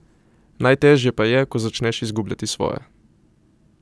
Najtežje pa je, ko začneš izgubljati svoje.